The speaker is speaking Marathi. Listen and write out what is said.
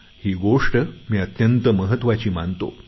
ही गोष्ट मी अत्यंत महत्वाची मानतो